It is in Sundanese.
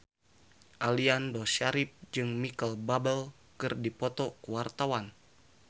Aliando Syarif jeung Micheal Bubble keur dipoto ku wartawan